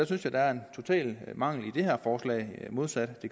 synes jeg der er en total mangel i det her forslag modsat